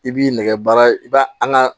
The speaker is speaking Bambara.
I b'i nɛgɛ baara i b'a an ka